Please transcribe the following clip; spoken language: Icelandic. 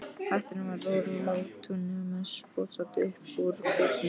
Hatturinn var úr látúni og með spjótsoddi upp úr kúfnum.